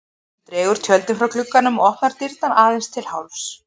Hún dregur tjöldin frá glugganum og opnar dyrnar aðeins til hálfs.